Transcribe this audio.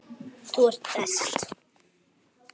Þú ert best.